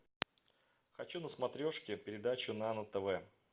хочу на смотрешке передачу нано тв